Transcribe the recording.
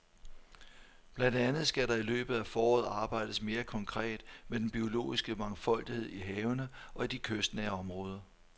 Blandt andet skal der i løbet af foråret arbejdes mere konkret med den biologiske mangfoldighed i havene og i de kystnære områder.